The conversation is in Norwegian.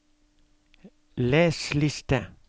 les liste